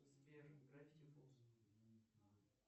сбер гравити фолс